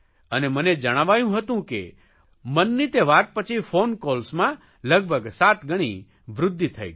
અને મને જણાવાયું હતું કે મનની તે વાત પછી ફોન કોલ્સમાં લગભગ સાત ગણી વૃદ્ધિ થઇ ગઇ